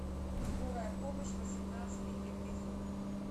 скорая помощь восемнадцатый эпизод